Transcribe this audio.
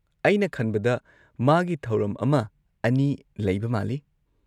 ꯑꯩꯅ ꯈꯟꯕꯗ ꯃꯥꯒꯤ ꯊꯧꯔꯝ ꯑꯃ ꯑꯅꯤ ꯂꯩꯕ ꯃꯥꯜꯂꯤ꯫